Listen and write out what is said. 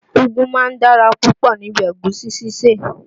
Úgú máa ń dára púpọ̀ ní bi Ẹ̀gúsí sísè